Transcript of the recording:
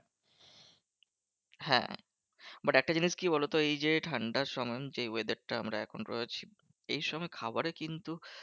হ্যাঁ but একটা জিনিস কি বলতো? এই যে ঠান্ডার সময় যেই weather টায় আমরা এখন রয়েছি। এই সময় খাবারে কিন্তু